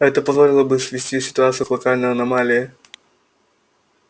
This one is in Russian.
это позволило бы свести ситуацию к локальной аномалии